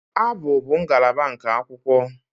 Abụ bụ ngalaba nke akwụkwọ